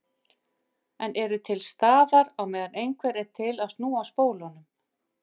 En eru til staðar á meðan einhver er til að snúa spólunum.